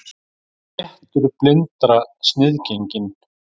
Réttur blindra sniðgenginn